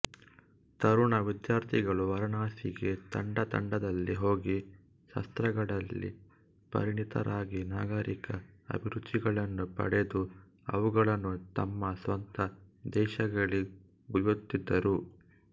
ತರುಣ ವಿದ್ಯಾರ್ಥಿಗಳು ವಾರಣಾಸಿಗೆ ತಂಡ ತಂಡದಲ್ಲಿ ಹೋಗಿ ಶಾಸ್ತ್ರಗಳಲ್ಲಿ ಪರಿಣಿತರಾಗಿ ನಾಗರಿಕ ಅಭಿರುಚಿಗಳನ್ನು ಪಡೆದು ಅವುಗಳನ್ನು ತಮ್ಮ ಸ್ವಂತ ದೇಶಗಳಿಗೊಯ್ಯುತ್ತಿದ್ದರು